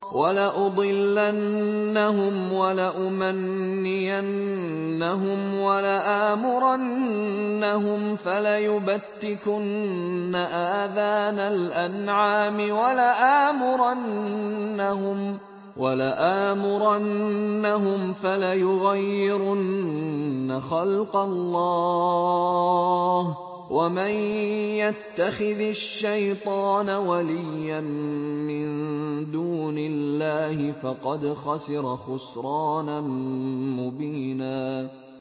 وَلَأُضِلَّنَّهُمْ وَلَأُمَنِّيَنَّهُمْ وَلَآمُرَنَّهُمْ فَلَيُبَتِّكُنَّ آذَانَ الْأَنْعَامِ وَلَآمُرَنَّهُمْ فَلَيُغَيِّرُنَّ خَلْقَ اللَّهِ ۚ وَمَن يَتَّخِذِ الشَّيْطَانَ وَلِيًّا مِّن دُونِ اللَّهِ فَقَدْ خَسِرَ خُسْرَانًا مُّبِينًا